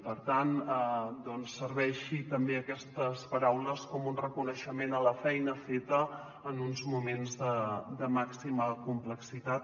per tant doncs serveixin també aquestes paraules com un reconeixement a la feina feta en uns moments de màxima complexitat